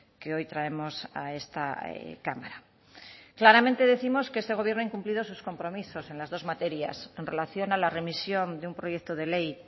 que hoy traemos a esta cámara claramente décimos que este gobierno ha incumplido sus compromisos en las dos materias en relación a la remisión de un proyecto de ley